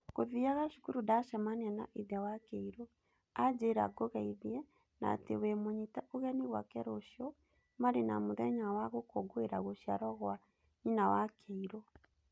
Ngũthiaga cukuru ndacamania na ithe wa Kĩirũ. Anjĩra ngũgethie na atĩ we mũnyite ũgeni gwake rũcio marĩ na mũthenya wa gũkũngũĩra gũciarwo gwa nyina wa Kĩirũ.